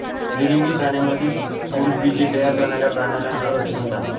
द्विलिंगी प्राण्यांमधील पुरुषबीजे तयार करणाऱ्या प्राण्याला नर असे म्हणतात